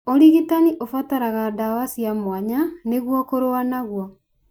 ũrigitani ũbataraga dawa cia mwanya nĩguo kũrũa naguo.